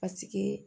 Paseke